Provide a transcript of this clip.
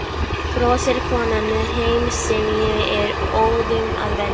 brosir konan með hreim sem ég er óðum að venjast.